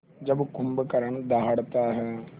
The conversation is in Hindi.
जब कुंभकर्ण दहाड़ता है